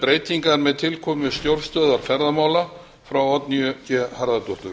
breytingar með tilkomu stjórnstöðvar ferðamála frá oddnýju g harðardóttur